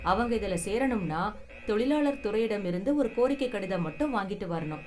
அவங்க இதுல சேரணும்னா தொழிலாளர் துறையிடம் இருந்து ஒரு கோரிக்கை கடிதம் மட்டும் வாங்கிட்டு வரணும்.